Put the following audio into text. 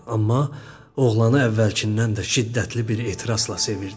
Amma oğlanı əvvəlkindən də şiddətli bir ehtirasla sevirdi.